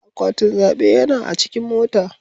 Akwatin zaɓe yana a cikin mota.